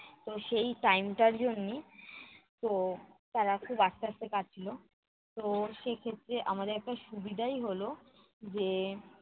তো সেই time টার জন্যি তো তারা খুব আস্তে আস্তে কাটছিলো। তো সেই ক্ষেত্রে আমাদের একটা সুবিধাই হলো যে